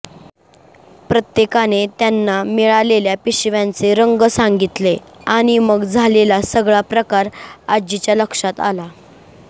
प्रत्येकाने त्यांना मिळालेल्या पिशव्यांचे रंग सांगितले आणि मग झालेला सगळा प्रकार आजीच्या लक्षात आला